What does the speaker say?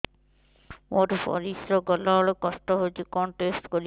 ମୋର ପରିସ୍ରା ଗଲାବେଳେ କଷ୍ଟ ହଉଚି କଣ ଟେଷ୍ଟ କରିବି